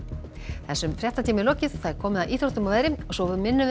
þessum fréttatíma er lokið og komið að íþróttum og veðri og svo minnum við